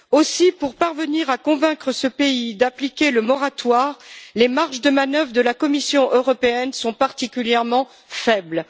Aussi, pour parvenir à convaincre ce pays d'appliquer ce moratoire, les marges de manœuvre de la Commission européenne sont particulièrement faibles.